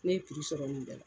Ne ye piri sɔrɔ nin bɛɛ la.